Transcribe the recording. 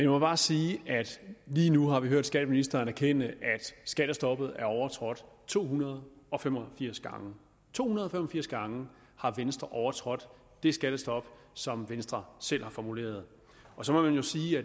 må bare sige at lige nu har vi hørt skatteministeren erkende at skattestoppet er overtrådt to hundrede og fem og firs gange to hundrede og fem og firs gange har venstre overtrådt det skattestop som venstre selv har formuleret så må man jo sige